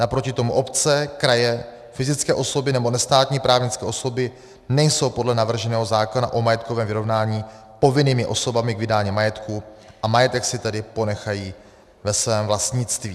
Naproti tomu obce, kraje, fyzické osoby nebo nestátní právnické osoby nejsou podle navrženého zákona o majetkovém vyrovnání povinnými osobami k vydání majetku a majetek si tedy ponechají ve svém vlastnictví.